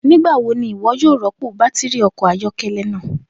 Nigbawo ni iwọ yoo rọpo batiri ọkọ ayọkẹlẹ naa?